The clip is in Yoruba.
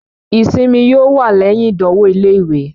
ìsimi yóò wà lẹyìn ìdánwò ilé-ìwé.